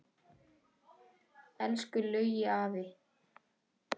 Elsku Laugi afi.